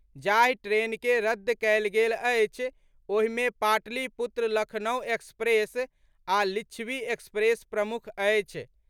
जाहि ट्रेन के रद्द कयल गेल अछि, ओहिमे पाटलिपुत्र लखनउ एक्सप्रेस आ लिच्छिवी एक्सप्रेस प्रमुख अछि।